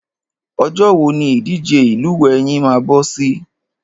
Ọjọ́ wo ni ìdíje lílúwẹ̀ẹ́ yín máa bọ́ sí?